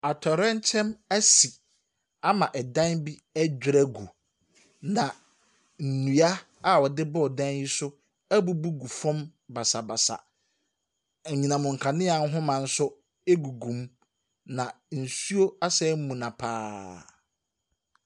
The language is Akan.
Atowerɛnkyɛm bi asi ama dan bi adwiri agu, na nnua a wɔde dan yi so abubu gu fam basabasa. Enhinam kanea ahoma nso agugu mu na nsuo asan amuna pa ara.